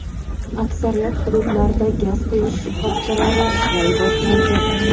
aksariyat hududlarda gaz quyish shoxobchalari ishlay boshlaydi.